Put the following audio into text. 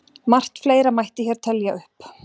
Margt fleira mætti hér telja upp.